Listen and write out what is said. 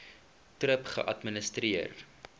thrip geadministreer